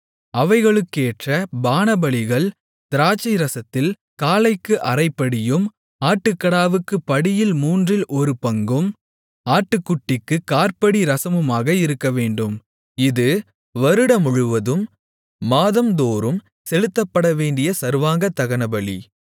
அவைகளுக்கேற்ற பானபலிகள் திராட்சைரசத்தில் காளைக்கு அரைப்படியும் ஆட்டுக்கடாவுக்குப் படியில் மூன்றில் ஒரு பங்கும் ஆட்டுக்குட்டிக்குக் காற்படி ரசமுமாக இருக்கவேண்டும் இது வருடமுழுவதும் மாதம்தோறும் செலுத்தப்படவேண்டிய சர்வாங்கதகனபலி